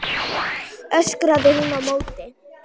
öskraði hún á móti.